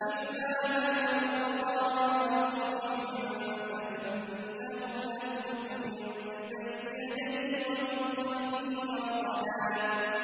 إِلَّا مَنِ ارْتَضَىٰ مِن رَّسُولٍ فَإِنَّهُ يَسْلُكُ مِن بَيْنِ يَدَيْهِ وَمِنْ خَلْفِهِ رَصَدًا